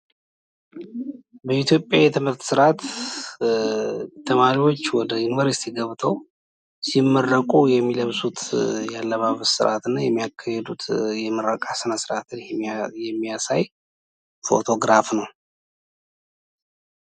በኢትዮጵያ የትምህርት ስርዓት ተማሪዎች ወደ ዩኒቨርስቲ ገብተው ሲመረቁ የሚለብሱት የአለባበስ ስርዓት እና የሚያካሂዱት የምርቃ ስነስርዓትን የሚያሳይ ፎቶግራፍ ነው።